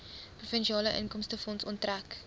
provinsiale inkomstefonds onttrek